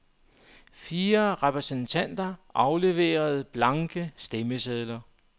Fire repræsentanter afleverede blanke stemmesedler.